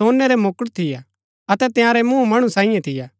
सोनै रै मुकुट थियै अतै तंयारै मूँह मणु सांईये थियै